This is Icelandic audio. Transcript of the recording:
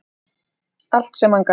Allt sem hann gaf.